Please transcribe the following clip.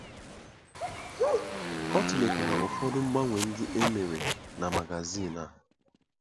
Ọ tụlekwara ụfọdụ mgbanwe ndị e mere na magazin a.